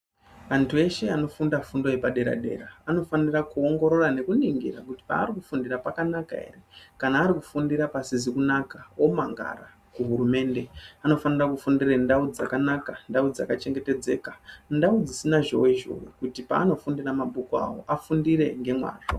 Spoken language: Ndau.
Vantu veshe anofunda fundo yepa dera anofanira ku ongorora neku ningira kuti paari ku fundira paka naka ere kana ari kufundire pasizi kunaka omangara ku hurumende ano fanira kufundire ndau dzakanaka ndau dzaka chengetedzeka ndau dzisina zhowe zhowe kuti pa anofundira mabhuku avo afundire ne mazvo.